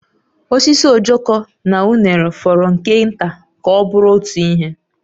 Osisi ojoko na unere fọrọ nke nta ka ọ bụrụ otu ihe